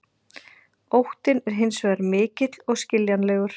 Óttinn er hins vegar mikill og skiljanlegur.